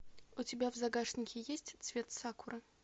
у тебя в загашнике есть цвет сакуры